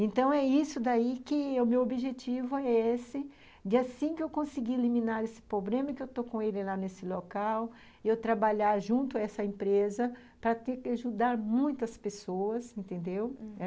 Então, é isso daí que o meu objetivo é esse, de assim que eu conseguir eliminar esse problema e que eu estou com ele lá nesse local, eu trabalhar junto a essa empresa para ter que ajudar muitas pessoas, entendeu?